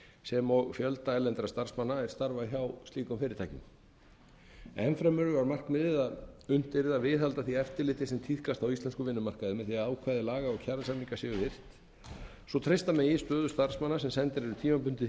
sem og fjölda erlendra starfsmanna er starfa hjá slíkum fyrirtækjum enn fremur var markmiðið að unnt yrði að viðhalda því eftirliti sem tíðkast á íslenskum vinnumarkaði með því að ákvæði laga og kjarasamninga séu virt svo treysta megi stöðu starfsmanna sem sendir eru tímabundið